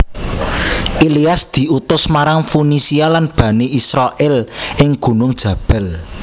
Ilyas diutus marang Funisia lan Bani Israil ing gunung Jabbal